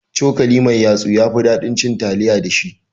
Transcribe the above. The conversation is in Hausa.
Cokali mai yatsu yafi ɗaɗin cin taliya da shi